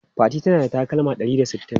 Fatima tana da takalma ɗari da sittin.